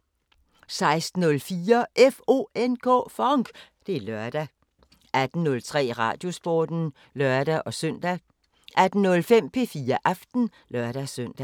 16:04: FONK! Det er lørdag 18:03: Radiosporten (lør-søn) 18:05: P4 Aften (lør-søn)